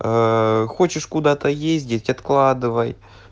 хочешь куда-то ездить откладывай